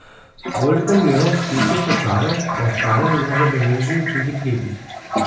Koliko milijonov sličnih slučajev pa ostane nezabeleženih in prikritih?